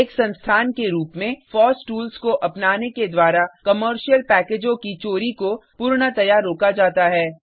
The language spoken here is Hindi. एक संस्थान के रूप में फॉस टूल्स को अपनाने के द्वारा कॉमर्शियल पैकेजों की चोरी को पूर्णतया रोका जाता है